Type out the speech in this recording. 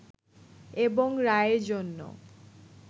এবং রায়ের জন্য